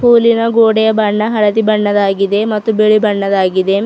ಪೂಲಿನ ಗೋಡೆಯ ಬಣ್ಣ ಹಳದಿ ಬಣ್ಣದಾಗಿದೆ ಮತ್ತು ಬಿಳಿ ಬಣ್ಣದಾಗಿದೆ.